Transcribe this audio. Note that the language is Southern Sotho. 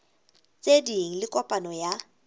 tse ding le kopano ya